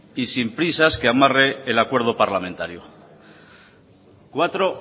y sin prisas que amarre el acuerdo parlamentario cuatro